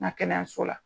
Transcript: Na kɛnɛyaso la